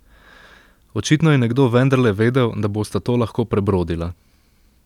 Očitno je nekdo vendarle vedel, da bosta to lahko prebrodila.